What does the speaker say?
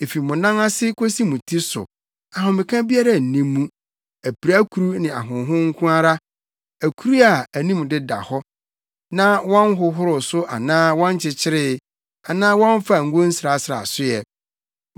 Efi mo nan ase kosi mo ti so, ahomeka biara nni mu, apirakuru ne ahonhon nko ara akuru a anim deda hɔ na wɔnhohoro so anaa wɔnkyekyeree anaa wɔmfaa ngo nsrasraa so ɛ.